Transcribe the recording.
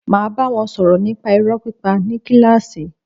Máa bá wọn sọ̀rọ̀ nípa irọ́ pípa ní kílàsì.